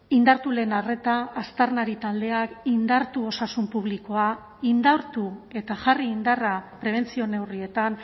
indartu lehen arreta aztarnari taldeak indartu osasun publikoa indartu eta jarri indarra prebentzio neurrietan